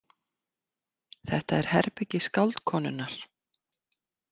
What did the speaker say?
Þetta er herbergi skáldkonunnar.